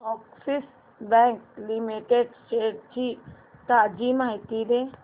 Axis bank limited shares ची ताजी माहिती दे